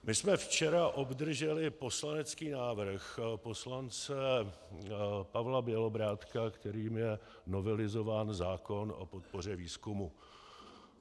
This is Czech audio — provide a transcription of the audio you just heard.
My jsme včera obdrželi poslanecký návrh poslance Pavla Bělobrádka, kterým je novelizován zákon o podpoře výzkumu.